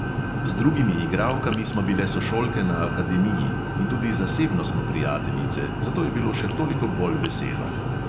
Z drugimi igralkami smo bile sošolke na akademiji in tudi zasebno smo prijateljice, zato je bilo še toliko bolj veselo.